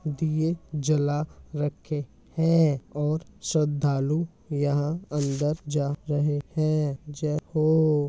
दिए जला रखे है और श्रद्धालु यहाँ अंदर जा रहे है। जय हो।